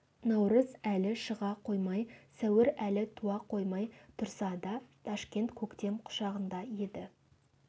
наурыз әлі шыға қоймай сәуір әлі туа қоймай тұрса да ташкент көктем құшағында еді